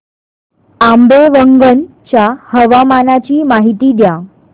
आंबेवंगन च्या हवामानाची माहिती द्या